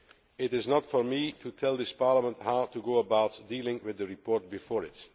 It is not for me to tell this Parliament how to go about dealing with the report before it.